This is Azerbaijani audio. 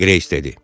Greys dedi.